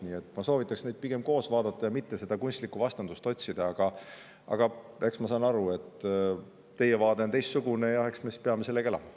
Nii et ma soovitaksin neid pigem koos vaadata ja mitte seda kunstlikku vastandust otsida, aga ma saan aru, et teie vaade on teistsugune, ja eks me siis peame sellega elama.